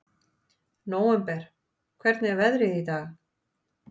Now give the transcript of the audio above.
Nóvember, hvernig er veðrið í dag?